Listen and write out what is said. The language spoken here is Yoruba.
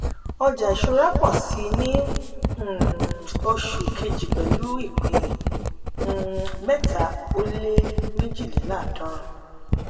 ọjà ìṣúra pọ̀ síi ní um oṣù kejì pẹ̀lú ìpín um mẹ́tà ó lé mejidinláàdọ́run.